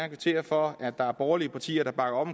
kvittere for at der er borgerlige partier der bakker op